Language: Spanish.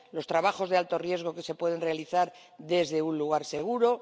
los trabajos de alto riesgo que se pueden realizar desde un lugar seguro